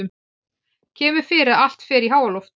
Kemur fyrir að allt fer í háaloft.